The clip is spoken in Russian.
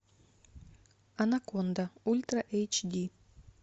анаконда ультра эйч ди